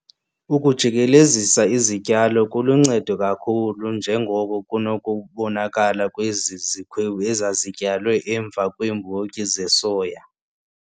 Ukujikelezisa izityalo kuluncedo kakhulu njengoko kunokubonakala kwezi zikhwebu ezazityalwe emva kweembotyi zesoya.